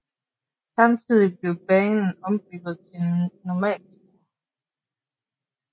Samtidig blev banen ombygget til normalspor